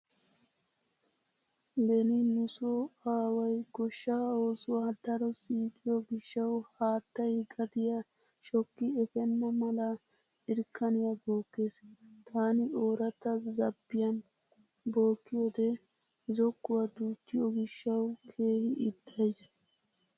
Beni nu so aaway goshshaa oosuwa daro siiqiyo gishshawu haattay gadiya shokki efenna mala irkkaniya bookkees. Taani ooratta zaabbiyan bookkiyode zokkuwa duuttiyo gishshawu keehi ixxays.